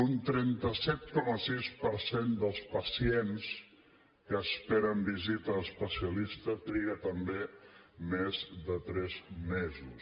un trenta set coma sis per cent dels pacients que esperen visita a l’especialista triguen també més de tres mesos